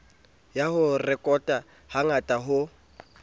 ya ho rekota hangata ho